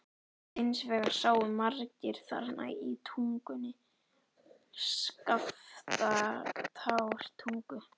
Hins vegar sáu margir þarna í Tungunni, Skaftártungu.